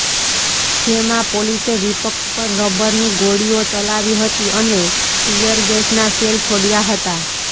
જેમાં પોલીસે વિપક્ષ પર રબરની ગોળીઓ ચલાવી હતી અને ટીયરગેસના સેલ છોડ્યા હતા